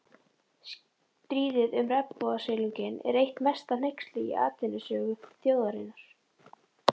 Stríðið um regnbogasilunginn er eitt mesta hneyksli í atvinnusögu þjóðarinnar.